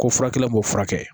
Ko furakɛla b'o furakɛ